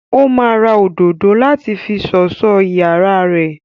Ó máa ra òdòdó láti fi sọ̀sọ́ iyàrá rẹ.